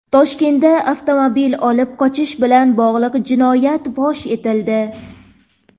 Toshkentda avtomobil olib qochish bilan bog‘liq jinoyat fosh etildi.